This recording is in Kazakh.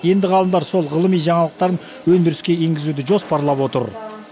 енді ғалымдар сол ғылыми жаңалықтарын өндіріске енгізуді жоспарлап отыр